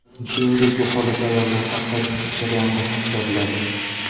Shuningdek, bu holat ayollarda hayz jarayonida ham kuzatiladi.